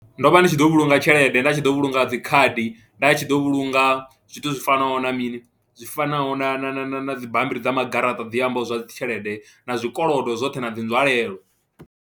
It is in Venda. Ndo vha ndi tshi ḓo vhulunga tshelede nda tshi ḓo vhulunga dzi khadi, nda tshi ḓo vhulunga zwithu zwi fanaho na mini zwi fanaho na na na na na dzi bammbiri dza magaraṱa dzi ambaho zwa dzi tshelede na zwikolodo zwoṱhe na dzi nzwalelo.